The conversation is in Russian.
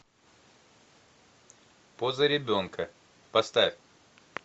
поза ребенка поставь